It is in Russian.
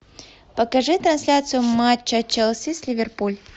покажи трансляцию матча челси с ливерпуль